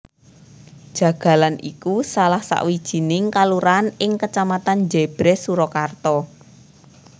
Jagalan iku salah sawijining kalurahan ing Kecamatan Jèbrès Surakarta